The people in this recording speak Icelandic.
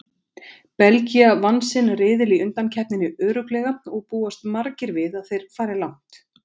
Belgía vann sinn riðil í undankeppninni örugglega og búast margir við að þeir fari langt.